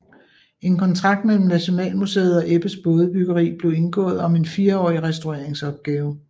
En kontrakt mellem Nationalmuseet og Ebbes Bådebyggeri blev indgået om en fireårig restaureringsopgave